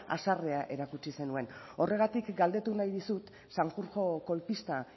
haserrea erakutsi zenuen horregatik galdetu nahi dizut sanjurjo kolpista